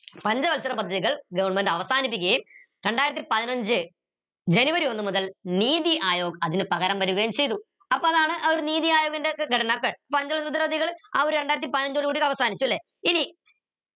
പഞ്ചവർണ്ണ പദ്ധതികൾ govt അവസാനിപ്പിക്കുകയും രണ്ടായിരത്തി പതിനഞ്ച് ജനുവരി ഒന്ന് മുതൽ നീതി ആയോഗ് അതിനു പകരം വരികയും ചെയ്തു അപ്പൊ അതാണ് നീതി അയോഗിന്റെ ഒക്കെ ഘടന ലെ ആ ഒരു രണ്ടായിരത്തി പതിനഞ്ചോട് കൂടി അവസാനിച്ചു അല്ലെ